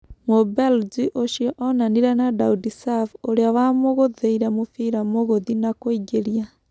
Mũbelji ũcio onanire na Daudi Sav ũrĩa wa-mũgũthĩire mũbira Mũgũthi na kũingĩria.